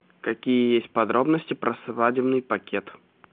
какие есть подробности про свадебный пакет